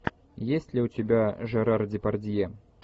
есть ли у тебя жерар депардье